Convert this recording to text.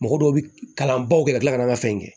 Mɔgɔ dɔw bi kalan baw kɛ ka tila ka n ka fɛn kɛ